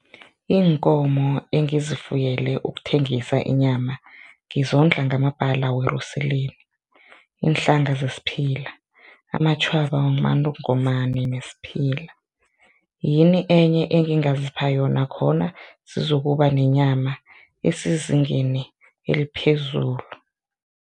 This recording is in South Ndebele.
Iinkomo engizifuyele ukuthengisa inyama ngizondla ngamabhala weruseleni, iinhlanga zesiphila, amatjhwaba wamantongomani nesiphila, yini enye engingazipha yona khona zizokuba nenyama esezingeni eliphezulu?